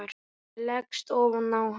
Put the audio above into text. Ég leggst ofan á hann.